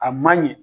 A man ɲɛ